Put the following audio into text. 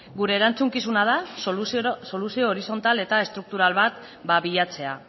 gure erantzukizuna da soluzio horizontal eta estruktural bat bilatzea